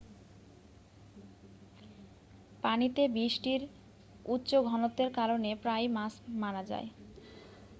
পানিতে বিষটির উচ্চ ঘনত্বের কারনে প্রায়ই মাছ মারা যায়